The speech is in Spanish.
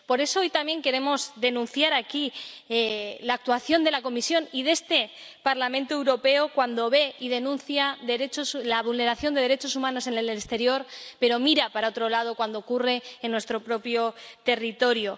Por eso, hoy también queremos denunciar aquí la actuación de la Comisión y de este Parlamento Europeo cuando ve y denuncia la vulneración de derechos humanos en el exterior pero mira para otro lado cuando ocurre en nuestro propio territorio.